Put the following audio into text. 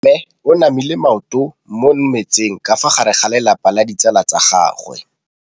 Mme o namile maoto mo mmetseng ka fa gare ga lelapa le ditsala tsa gagwe.